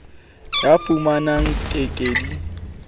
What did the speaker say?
ya fumanang di ke ke